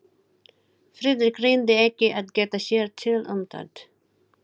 Friðrik reyndi ekki að geta sér til um það.